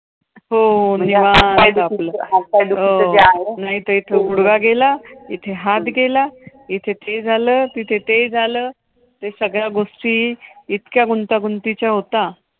हो निवांत आपलं हात पाय हात पाय दुखायचं जे आहे. हो नाहीतर इथं गुडघा गेला, इथे हात गेला. इथे ते झालं, तिथे ते झालं. ते सगळ्या गोष्टी इतक्या गुंतागुंतीच्या होता.